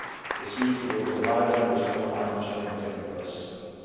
This means we will provide it with more financial and technical assistance.